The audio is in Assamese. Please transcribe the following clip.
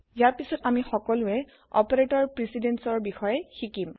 ইয়াৰ পাছত আমি সকলোয়ে অপাৰেতৰ160 precedenceৰ বিষয়ে শিকিম